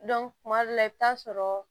kuma dɔ la i bɛ taa sɔrɔ